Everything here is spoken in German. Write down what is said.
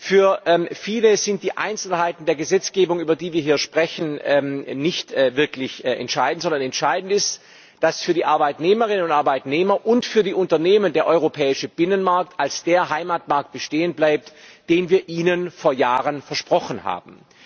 Für viele sind die Einzelheiten der Gesetzgebung, über die wir hier sprechen, nicht wirklich entscheidend, sondern entscheidend ist, dass für die Arbeitnehmerinnen und Arbeitnehmer und für die Unternehmen der europäische Binnenmarkt als der Heimatmarkt bestehen bleibt, den wir ihnen vor Jahren versprochen haben.